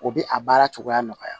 O bɛ a baara cogoya nɔgɔya